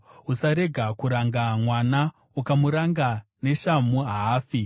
Usarega kuranga mwana; ukamuranga neshamhu, haafi.